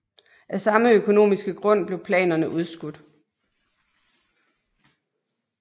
Af samme økonomiske grund blev planerne udskudt